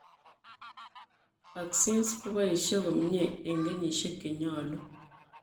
Vaccines koboisie komyee eng' kenyisiek chenyolu